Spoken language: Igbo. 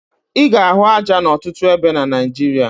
Ị ga-ahụ aja n'ọtụtụ ebe na Naịjirịa